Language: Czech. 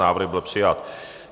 Návrh byl přijat.